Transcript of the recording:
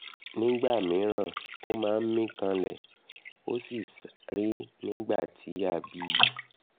nígbà míràn ó máa ń mí kanlẹ̀ ó sì ṣàárẹ̀ nígbà tí a bí i